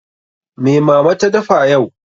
Me Mama ta dafa yau?